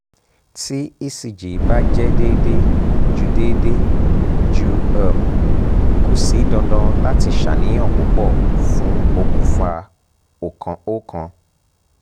ti ecg ba jẹ deede ju deede ju um ko si dandan lati ṣàníyàn pupọ fun okunfa okan